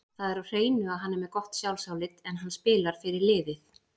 Það er á hreinu að hann er með gott sjálfsálit, en hann spilar fyrir liðið.